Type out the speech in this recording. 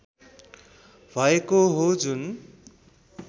भएको हो जुन